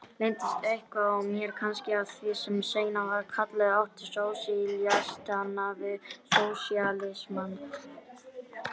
Leyndist eitthvað í mér kannski af því sem seinna var kallað ótti sósíalistanna við sósíalismann?